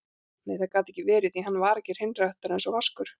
Nei, það gat ekki verið, því hann var ekki hreinræktaður einsog Vaskur.